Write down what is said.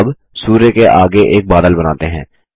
अब सूर्य के आगे एक बादल बनाते हैं